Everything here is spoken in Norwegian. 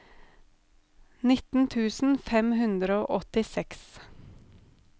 nitten tusen fem hundre og åttiseks